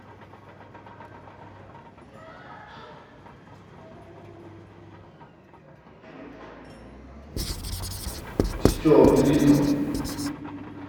стюарт литтл